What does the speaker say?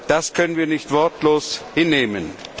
Das können wir nicht wortlos hinnehmen.